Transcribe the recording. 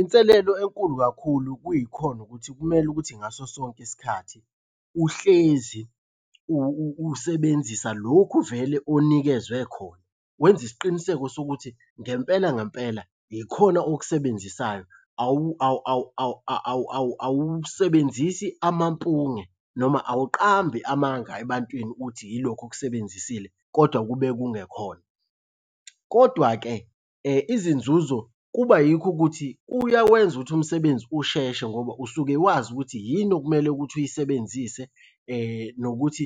Inselelo enkulu kakhulu kuyikhona ukuthi kumele ukuthi ngaso sonke isikhathi uhlezi usebenzisa lokhu vele onikezwe khona. Wenze isiqiniseko sokuthi ngempela ngempela yikhona okusebenzisayo, awusebenzisi amampunge noma awuqambi amanga ebantwini uthi yilokhu okusebenzisile kodwa kube kungekhona. Kodwa-ke izinzuzo kuba yikho ukuthi kuyawenza ukuthi umsebenzi usheshe ngoba usuke wazi ukuthi yini okumele ukuthi uyisebenzise nokuthi